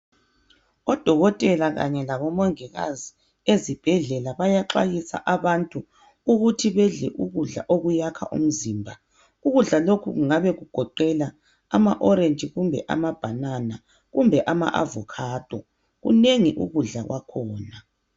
Odokotela kanye labomongikazi ezibhedlela bayaxwayisa abantu ukuthi bedle ukudla okuyakha umzimba. Ukudla lokhu kungabe kugoqela ama"orange" kumbe ama"banana" kumbe ama"avocado".Kunengi ukudla kwakhona.